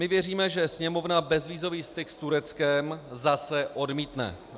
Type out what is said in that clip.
My věříme, že Sněmovna bezvízový styk s Tureckem zase odmítne.